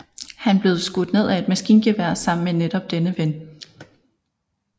Han blev skudt ned af et maskingevær sammen med netop denne ven